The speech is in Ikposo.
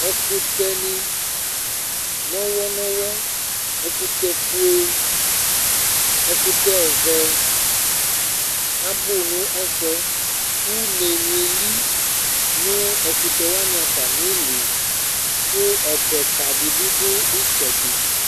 ɛkutɛ ni nɔwɛ nɔwɛ ɛkutɛ fue ɛkutɛ ɔvɛ abò no ɛfu yɛ une ni eli no ɛkutɛ wani atami ili kò ɔbɛ ka di bi do itsɛdi